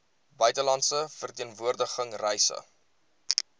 buitelandse verteenwoordiging reise